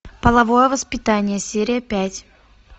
половое воспитание серия пять